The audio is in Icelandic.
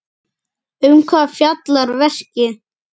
Um hvað fjallar verkið?